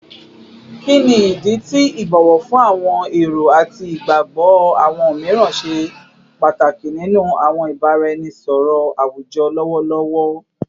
Kini idi ti ibowo fun awọn ero ati igbagbọ awọn miiran ṣe pataki ninu awọn ibaraenisọrọ awujọ lọwọlọwọ?